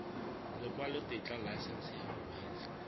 lekwalotetla laesense ya go kgweetsa